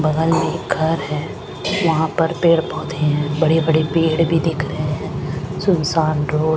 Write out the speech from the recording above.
बगल में घर है वहां पर पेड़ पौधे हैं बड़े-बड़े पेड़ भी दिख रहे हैं सुनसान रोड--